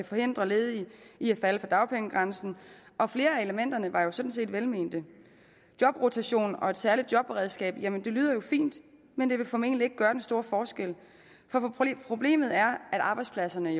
forhindre ledige i at falde for dagpengegrænsen og flere af elementerne var jo sådan set velmente jobrotation og et særligt jobberedskab lyder jo fint men det vil formentlig ikke gøre den store forskel for problemet er at arbejdspladserne